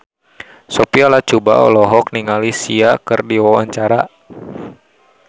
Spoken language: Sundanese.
Sophia Latjuba olohok ningali Sia keur diwawancara